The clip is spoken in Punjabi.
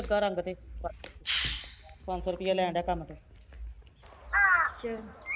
ਲੱਗਾ ਰੰਗ ਤੇ ਪੰਜ ਸੋਂ ਰੁੱਪਈਆ ਲੈਣ ਡਿਆ ਕੰਮ ਤੇ